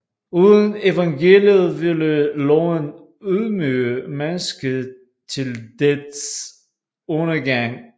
Uden evangeliet ville loven ydmyge mennesket til dets undergang